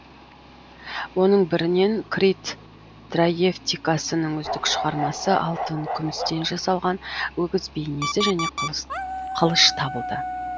оның бірінен крит траевтикасының үздік шығармасы алтын күмістен жасалған өгіз бейнесі және қылыш табылды